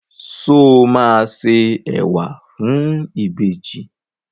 Sọ ma se ẹwà fún ìbejì?